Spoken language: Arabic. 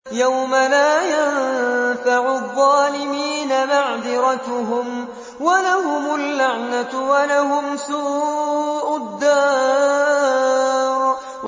يَوْمَ لَا يَنفَعُ الظَّالِمِينَ مَعْذِرَتُهُمْ ۖ وَلَهُمُ اللَّعْنَةُ وَلَهُمْ سُوءُ الدَّارِ